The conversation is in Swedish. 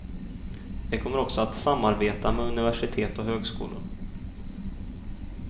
De kommer också att samarbeta med universitet och högskolor.